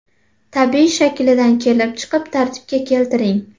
Tabiiy shaklidan kelib chiqib tartibga keltiring.